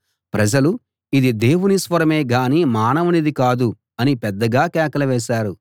ప్రజలు ఇది దేవుని స్వరమే గానీ మానవునిది కాదు అని పెద్దగా కేకలు వేశారు